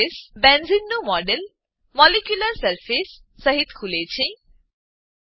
બેન્ઝેને benzene નું model molecular surface molecular surface સહીત ખુલે છે